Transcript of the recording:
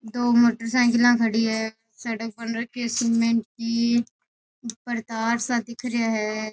दो मोटरसाइकिला खड़ी है सड़क बन रखी है सीमेंट की ऊपर तार सा दिख रिया है।